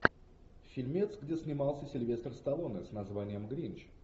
фильмец где снимался сильвестр сталлоне с названием гринч